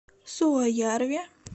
суоярви